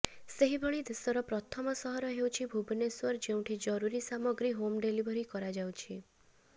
ସେହିଭଳି ଦେଶର ପ୍ରଥମ ସହର ହେଉଛି ଭୁବନେଶ୍ବର ଯେଉଁଠି ଜରୁରୀ ସାମଗ୍ରୀ ହୋମ୍ ଡେଲିଭରୀ କରାଯାଉଛି